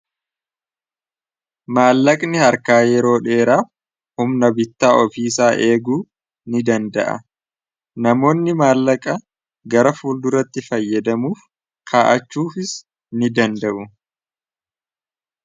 maallaqni harkaa yeroo dheeraa humna bittaa ofiisaa eeguu ni danda'a namoonni maallaqa gara fuul duratti fayyadamuuf kaa'achuufis ni danda'u